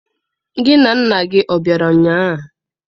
Gị na nna gị ọ bịara ụnyaahụ?